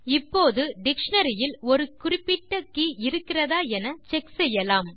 இப்போது டிக்ஷனரி இல் ஒரு குறிப்பிட்ட கே இருக்கிறதா என செக் செய்யலாம்